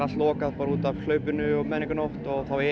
lokað út af menningarnótt þá